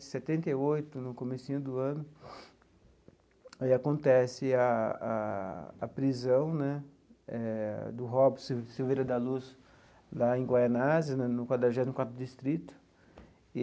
Setenta e oito no comecinho do ano, aí acontece a a a prisão né eh do Robson Silveira da Luz, lá em Goianésia, no no quadragésimo quarto Distrito.